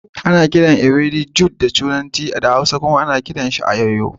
Ana kiran ewedu jute a turanci,a hausance kuma ana kiran sa ayoyo.